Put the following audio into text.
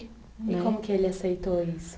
E como que ele aceitou isso?